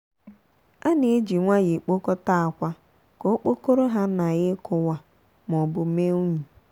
a na-eji nwayọọ ekpokọta akwa ka okpokoro ha nagha ikuwa maọbu mee unyi.